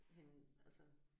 Hende altså